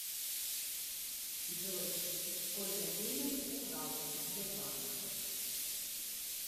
джой сколько денег украл сбербанк